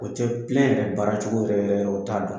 O tɛ yɛrɛ baaracogo yɛrɛ yɛrɛ u t'a dɔn